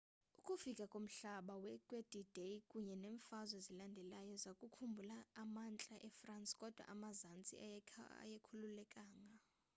ukufika komhlaba kwe-d-day kunye neemfazwe ezilandelayo zakhulula amantla efrance kodwa amazantsi ayengakhululekanga